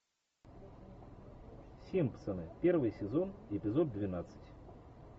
симпсоны первый сезон эпизод двенадцать